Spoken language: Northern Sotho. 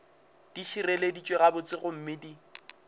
di šireleditšwe gabotse gomme di